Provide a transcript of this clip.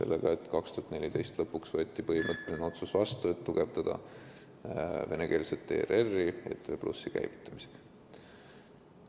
Aastal 2014 võeti lõpuks vastu põhimõtteline otsus tugevdada venekeelset ERR-i ETV+ käivitamisega.